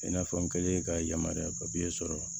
I n'a fɔ n kɛlen ka yamaruya sɔrɔ